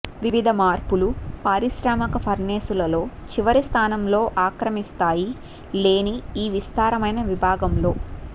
వివిధ మార్పులు పారిశ్రామిక ఫర్నేసులు లో చివరి స్థానంలో ఆక్రమిస్తాయి లేని ఈ విస్తారమైన విభాగంలో